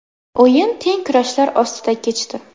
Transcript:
O‘yin teng kurashlar ostida kechdi .